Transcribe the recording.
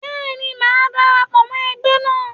Bẹ́ẹ̀ni, màá dara pọ̀ mọ ẹgbẹ́ náà.